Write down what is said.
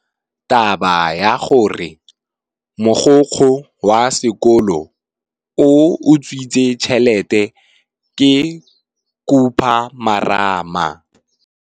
Taba ya gore mogokgo wa sekolo o utswitse tšhelete ke khupamarama.